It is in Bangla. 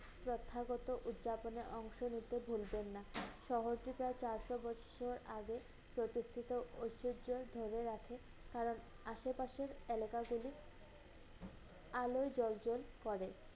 প্রথাগত উৎযাপনে অংশ নিতে ভুলবেন না। সহজে প্রায় চারশো বছর আগে প্রতিষ্ঠিত ঐশ্বর্য ধরে রাখে, কারণ আসে পাশের এলাকাগুলি আলোয় জ্বলজ্বল করে।